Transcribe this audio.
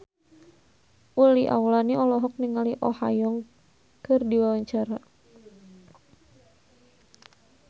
Uli Auliani olohok ningali Oh Ha Young keur diwawancara